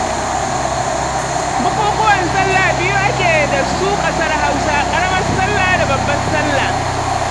Bukukuwan salla biyu ake da su ƙasar Hausa: ƙaramar salla da babbar salla.